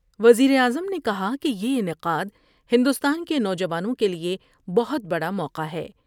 وزیراعظم نے کہا کہ یہ انعقاد ہندوستان کے نوجوانوں کے لئے بہت بڑا موقع ہے۔